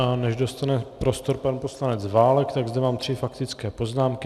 A než dostane prostor pan poslanec Válek, tak zde mám tři faktické poznámky.